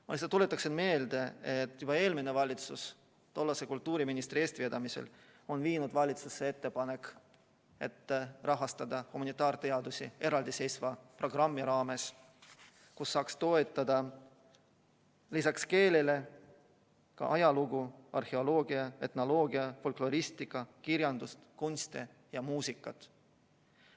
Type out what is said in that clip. Ma lihtsalt tuletan meelde, et juba eelmine valitsus tollase kultuuriministri eestvedamisel viis valitsusse ettepaneku, et rahastada humanitaarteadusi eraldiseisva programmi raames, kust saaks toetada lisaks keelele ka ajalugu, arheoloogiat, etnoloogiat, folkloristikat, kirjandust, kunsti ja muusikat.